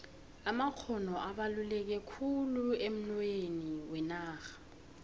amakgono abaluleke khulu emnoyhweni wenarha